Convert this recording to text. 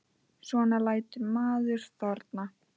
Svo lætur maður þorna.